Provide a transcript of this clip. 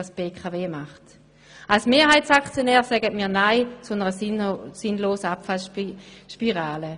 Als Mehrheitsaktionäre sagen wir nein zu einer sinnlosen Abwärtsspirale.